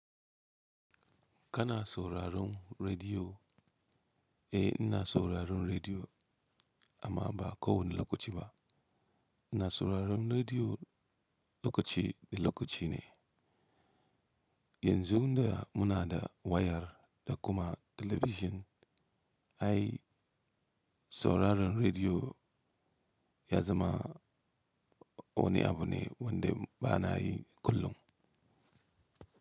Kana sauraron rediyo? Eh ina sauraron rediyo amma ba ko wani lokaci ba. Ina sauraron rediyo lokaci da lokaci ne. Yanzu da muna da wayar da kuma talabijin, ai sauraron rediyo ya zama wani abu ne wanda ba na yi kullum.